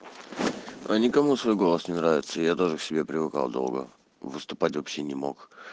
а никому свой голос не нравится я тоже к себе привыкал долго выступать вообще не мог